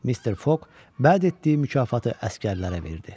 Mister Fok bəd etdiyi mükafatı əsgərlərə verdi.